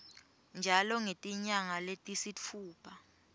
njalo ngetinyanga letisitfupha